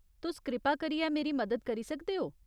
तुस कृपा करियै मेरी मदद करी सकदे ओ?